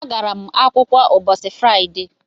Agara m akwụkwọ ụbọchị Fraịde